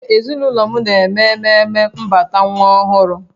Ee, ezinụlọ m na-eme ememe mbata nwa ọhụrụ